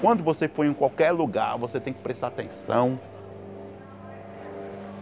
Quando você for em qualquer lugar, você tem que prestar atenção.